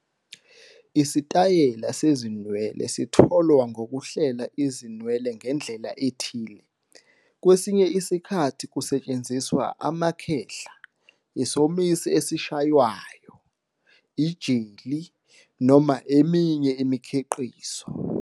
Isitayela sezinwele sitholwa ngokuhlela izinwele ngendlela ethile, kwesinye isikhathi kusetshenziswa amakhehla, isomisi esishaywayo, ijeli, noma eminye imikhiqizo.